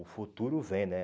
O futuro vem, né?